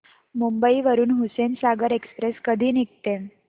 मुंबई वरून हुसेनसागर एक्सप्रेस कधी निघते